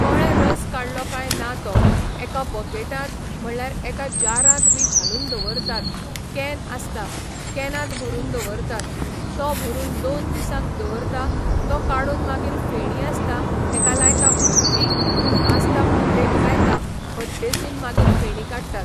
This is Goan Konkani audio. कळ्ळें रस काडलो कांय ना तो एका बकेटांत म्हटल्यार एका जारांत बी घालून दवरतात कॅन आसता कॅनांत भरून दवरतात तो भरून दोन दिसांक दवरता तो काडून मागीर फेणी आसता हेका लायता भट्टी आसता भट्टेक लायता भट्टेसून मागीर फेणी काडटात